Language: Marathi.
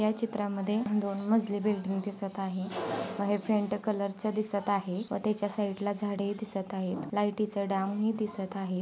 या चित्रा मध्ये दोन मजली बिल्डिंग दिसत आहे. व हे फेंट कलर चे दिसत आहे. व ते च्या साइड ला झाडे ही दिसत आहेत. लाइटीचा दांब ही दिसत आहे.